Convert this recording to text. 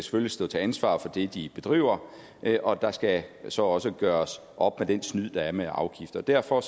skal stå til ansvar for det de bedriver og der skal så også gøres op med den snyd der er med afgifter derfor